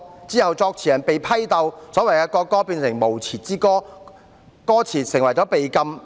之後，作詞人被批鬥，所謂的國歌變成無詞之歌，歌詞被禁。